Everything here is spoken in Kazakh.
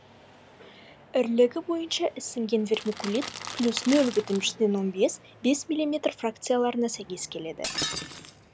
ірілігі бойынша ісінген вермикулит плюс нөль бүтін жүзден он бес миллиметр фракцияларына сәйкес келеді